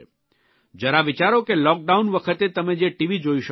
જરા વિચારો કે લૉકડાઉન વખતે તમે જે ટીવી જોઇ શકો છો